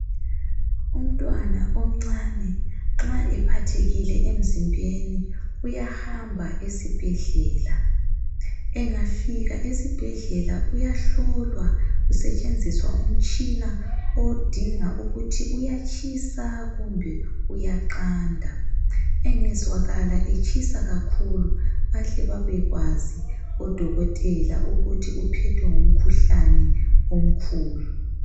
Umntwana omncane nxa ephathekile emzimbeni uyahamba esibhedlela. Engafika esibhedlela uyahlolwa kusetshenziswa umtshina odinga ukuthi uyatshisa kumbe kuyaqanda. Engezwakala etshisa kakhulu bahle babekwazi odokotela ukuthi uphethwe ngumkhuhlane omkhulu.